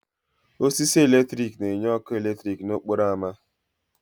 Osisi eletrik na-enye ọkụ eletrik n'okporo ámá.